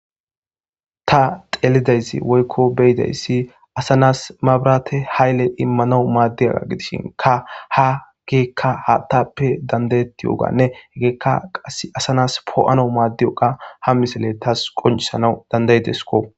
Ta xeelidayssi woykko beyidayssi asanas mabrate hayle immanau maaddi aga gidishin ka ha geekka haattappe dandayetti yoganne egeekka qass asanas poo'ana maaddiyoqa ha misele tas qoncisana dandaydesko.